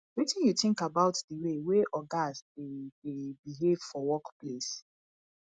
wetin you think about di way wey ogas dey dey behave for workplace